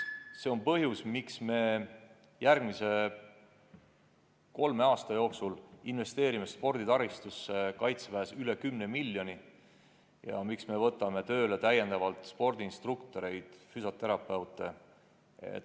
See on põhjus, miks me järgmise kolme aasta jooksul investeerime sporditaristusse Kaitseväes üle 10 miljoni euro ja miks me võtame tööle täiendavalt spordiinstruktoreid ja füsioterapeute.